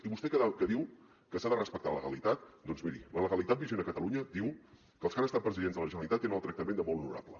i vostè que diu que s’ha de respectar la legalitat doncs miri la legalitat vigent a catalunya diu que els que han estat presidents de la generalitat tenen el tractament de molt honorable